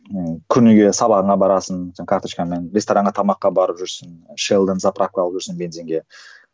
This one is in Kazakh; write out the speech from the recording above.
ыыы күніге сабағына барасың сен карточкаңмен ресторанға тамаққа барып жүрсің заправка алып жүрсің бензинге